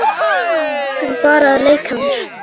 Engum, bara að leika mér